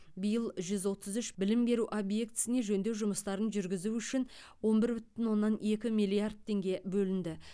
биыл жүз отыз үш білім беру объектісіне жөндеу жұмыстарын жүргізу үшін он бір бүтін оннан екі миллиард теңге бөлінді